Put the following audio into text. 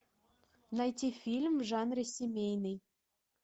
найти фильм в жанре семейный